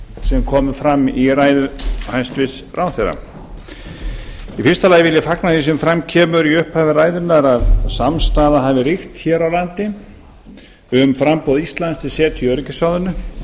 sem komu fram í ræðu hæstvirts ráðherra í fyrsta lagi vil ég fagna því sem fram kemur í upphafi ræðunnar að samstaða hafi ríkt hér á landi um framboð íslands til setu í öryggisráðinu